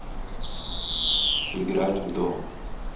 играть в дом